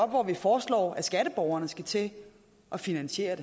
hvor vi foreslår at skatteborgerne skal til at finansiere